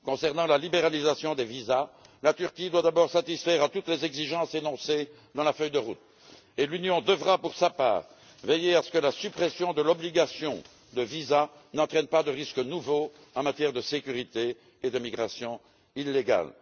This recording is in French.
Concernant la libéralisation des visas, la Turquie doit d'abord satisfaire à toutes les exigences énoncées dans la feuille de route et l'Union devra, pour sa part, veiller à ce que la suppression de l'obligation de visa n'entraîne pas de risques nouveaux en matière de sécurité et d'immigration illégale.